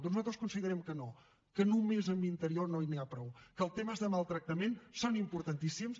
doncs nosaltres considerem que no que només amb interior no n’hi ha prou que els temes de maltractament són importantíssims